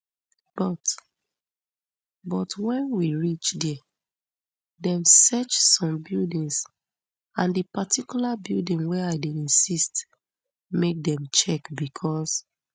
but but wen we reach dia dem search some buildings and di particular building wey i dey insist make dem check becos